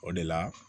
O de la